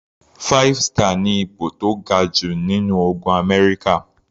Five star ni ipò tó ga jù nínú ogun Amẹ́ríkà.